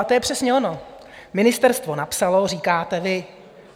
A to je přesně ono: Ministerstvo napsalo, říkáte vy.